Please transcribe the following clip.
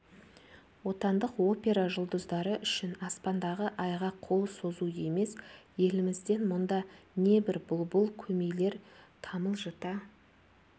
отандық опера жұлдыздары үшін аспандағы айға қол созу емес елімізден мұнда небір бұлбұл көмейлер тамылжыта